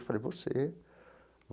Eu falei, você.